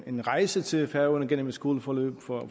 en rejse til færøerne gennem et skoleforløb for at